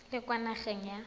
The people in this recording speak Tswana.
o le kwa nageng ya